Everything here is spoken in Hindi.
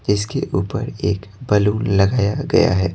इसके ऊपर एक बलून लगाया गया है।